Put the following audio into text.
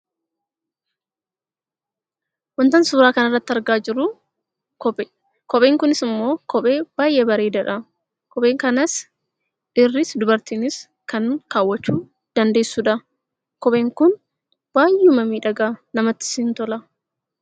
Wantaan suuraa kanarratti argaa jiru kopheedha. Kopheen kunis immoo kophee baay'ee bareedadha. Kophee kanammoo dhiirris dubartiinis kan kaawwachuu dandeessudha. Kopheen kun baay'ee miidhaga, namattis in tola.